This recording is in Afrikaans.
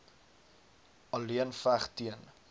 alleen veg teen